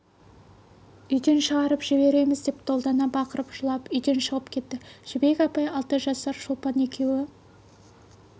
үйден шығарып жібереміз деп долдана бақырып жылап үйден шығып кетті жібек апай алты жасар шолпан екеуі